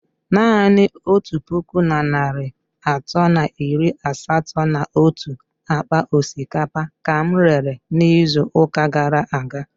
Naanị otu puku na narị atọ na iri asatọ na otu akpa osikapa ka m rere n'izu ụka gara aga.